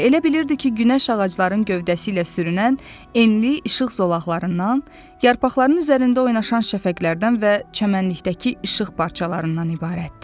Elə bilirdi ki, günəş ağacların gövdəsi ilə sürünən enli işıq zolaqlarından, yarpaqların üzərində oynaşan şan şəfəqlərdən və çəmənlikdəki işıq parçalarından ibarətdir.